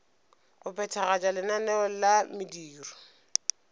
go phethagatša lenaneo la mediro